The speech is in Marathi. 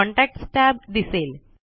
कॉन्टॅक्ट्स tab दिसेल